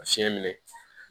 A fiɲɛ minɛ